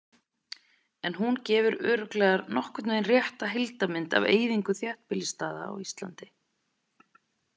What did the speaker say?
En hún gefur örugglega nokkurn veginn rétta heildarmynd af eyðingu þéttbýlisstaða á Íslandi.